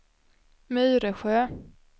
Myresjö